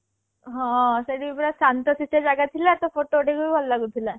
ହଁ ସେ ଦିନ ପୁରା ଶାନ୍ତ ଶିଷ୍ଠ ଜାଗା ଥିଲା ତ photo ଉଠେଇବାକୁ ଭି ଭଲ ଲାଗୁ ଥିଲା